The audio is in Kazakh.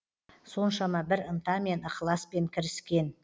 соншама бір ынтамен ықыласпен кіріскен